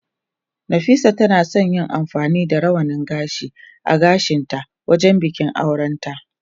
Nafisa tana son yin amfani da rawanin gashi a gashinta wajen bikin aurenta.